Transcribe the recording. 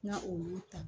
N ka olu ta